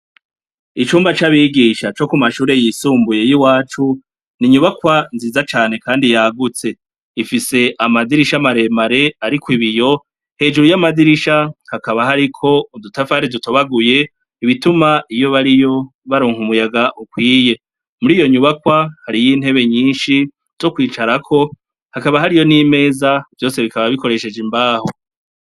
Icumba c'abigisha co ku mashure yisumbuye y'iwacu ,ni Inyubakwa nziza cane kandi yagutse, ifise amadirisha amaremare ariko ibiyo, hejuru y'amadirisha hakaba hari ko udutafari dutobaguye ,ibituma iyo bariyo baronka umuyaga ukwiye .Muri iyo nyubakwa ,hari y'intebe nyinshi zo kwicarako hakaba hariyo n'imeza vyose bikaba bikoresheje imbaho.